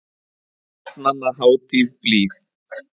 Barnanna hátíð blíð.